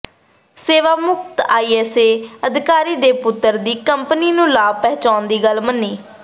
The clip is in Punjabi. ਸੇਵਾਮੁਕਤ ਆਈਏਐਸ ਅਧਿਕਾਰੀ ਦੇ ਪੁੱਤਰ ਦੀ ਕੰਪਨੀ ਨੂੰ ਲਾਭ ਪਹੁੰਚਾਉਣ ਦੀ ਗੱਲ ਮੰਨੀ